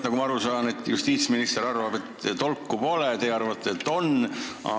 Nagu ma aru sain, justiitsminister arvab, et tolku pole, teie arvate, et on.